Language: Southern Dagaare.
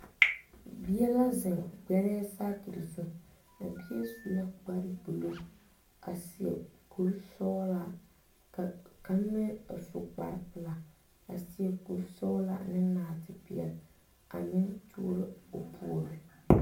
Bie la zeŋ gbɛrɛ sakir zu. A bie su la kparo buluu a seɛ kur sɔglaa. Ka kang meŋ a su kpar pulaa a seɛ kur sɔglaa ne narte piɛle a meŋ turo o poore.